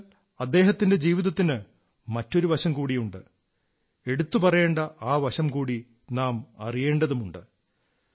എന്നാൽ അദ്ദേഹത്തിന്റെ ജീവിതത്തിന് മറ്റൊരു വശം കൂടിയുണ്ട് എടുത്തുപറയേണ്ട ആ വശം കൂടി നാം അറിയേണ്ടതുണ്ട്